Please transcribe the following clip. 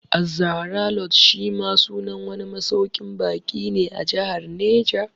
Az-Zahra Lodge shi ma sunan wani masauƙin baƙi ne a Jahar Neja